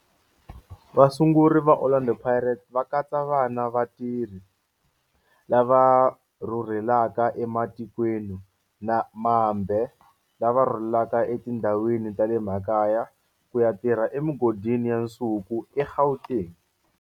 Vasunguri va Orlando Pirates va katsa vana vatirhi lava rhurhelaka ematikweni mambe lava rhurheleke etindhawini ta le makaya ku ya tirha emigodini ya nsuku eGauteng.